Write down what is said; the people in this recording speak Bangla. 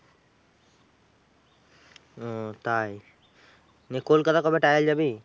ও তাই নিয়ে কলকাতা কবে trial যাবি?